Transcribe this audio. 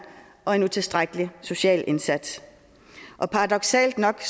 og en utilstrækkelig social indsats paradoksalt nok